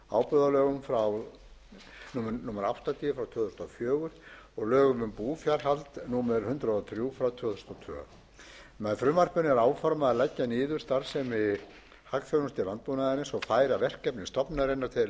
ábúðarlögum númer áttatíu tvö þúsund og fjögur og lögum um búfjárhald númer hundrað og þrjú tvö þúsund og tvö með frumvarpinu er áformað að leggja niður starfsemi hagþjónustu landbúnaðarins og færa verkefni stofnunarinnar til